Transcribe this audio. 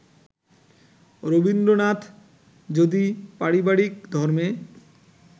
রবীন্দ্রনাথ যদি পারিবারিক ধর্মে